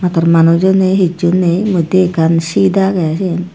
tor manujo ney hissu ney modye ekkan seat agey siyen.